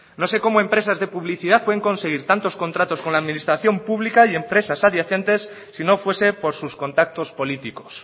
no sé cómo empresas de publicidad pueden conseguir tantos contratos con la administración pública y empresas adyacentes si no fuese por sus contactos políticos